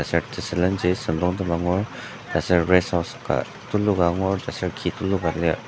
Aser tesülenji süngdongtem angur aser rest house ka tuluka angur aser ki tuluka lir.